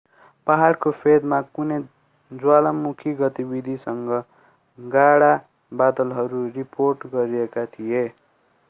पहाडको फेदमा कुनै ज्वालामुखी गतिविधिसँग गाढा बादलहरू रिपोर्ट गरिएका थिए